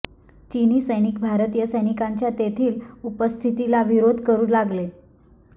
चीनी सैनिक भारतीय सैनिकांच्या तेथील उपस्थितीला विरोध करू लागले